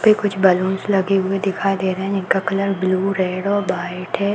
यहाँ पे कुछ बलून्स लगे हुए दिखाई दे रहे हैं जिनका कलर ब्लू रेड और वाइट है।